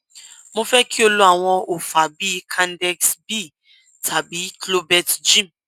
mo fẹ kí o lo àwọn òòfà bíi candexnb tàbí clobelt g